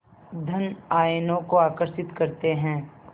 धन आयनों को आकर्षित करते हैं